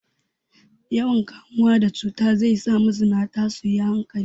Yawan kamuwa da cuta zai za mazinata su yi hankali.